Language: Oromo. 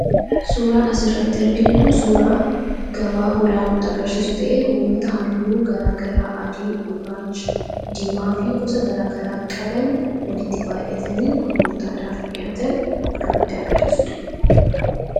suuraan as irratti argin kun suuraa gabaa hoolaa nutti agarsiisu ta'e hoolota halluu garaagaraa adii gurraacha diimaa fi gosa garaagaraa qaban walitti baay'atanii gurgurtaadhaaf dhi'aatan kanutti agarsiisuudha.